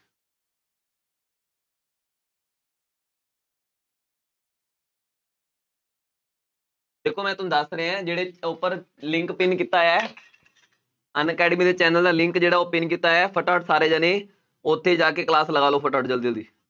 ਦੇਖੋ ਮੈਂ ਤੁਹਾਨੂੰ ਦੱਸ ਰਿਹਾਂ ਜਿਹੜੇ ਉੱਪਰ link pin ਕੀਤਾ ਹੋਇਆ ਹੈ ਅਨਅਕੈਡਮੀ ਦੇ channel ਦਾ link ਜਿਹੜਾ ਉਹ pin ਕੀਤਾ ਹੋਇਆ ਹੈ ਫਟਾਫਟ ਸਾਰੇ ਜਾਣੇ ਉੱਥੇ ਜਾ ਕੇ class ਲਗਾ ਲਓ ਫਟਾਫਟ ਜ਼ਲਦੀ ਜ਼ਲਦੀ